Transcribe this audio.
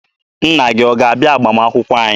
Nna gị ọ ga-abịa agbamakwụkwọ anyị?